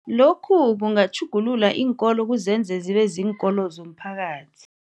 Lokhu kungatjhugulula iinkolo kuzenze zibe, ziinkolo zomphakathi.